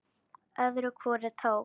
Öðru hvoru tók